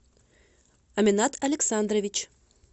аменат александрович